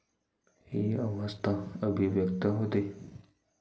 ही अवस्था अभिव्यक्त होते.